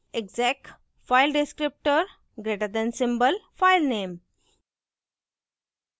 exec file descriptor greater than symbol filename